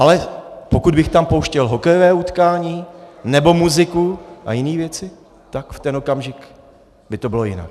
Ale pokud bych tam pouštěl hokejové utkání nebo muziku a jiné věci, tak v ten okamžik by to bylo jinak.